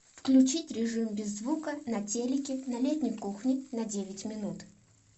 включить режим без звука на телике на летней кухне на девять минут